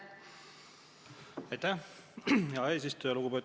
Aitäh, hea eesistuja!